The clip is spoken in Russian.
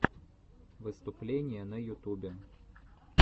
выступления на ютубе